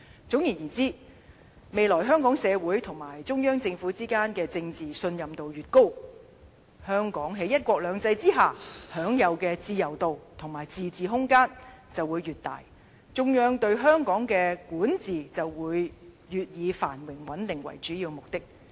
總而言之，未來香港社會及中央政府之間的政治信任度越高，香港於"一國兩制"之下享有的自由度，以及自治空間便會越大，中央對香港的管治便會越以繁榮穩定為主要目的。